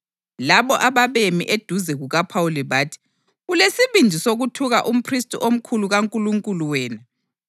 Labo ababemi eduze kukaPhawuli bathi, “Ulesibindi sokuthuka umphristi omkhulu kaNkulunkulu wena?”